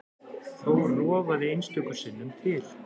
Þó rofaði einstöku sinnum til.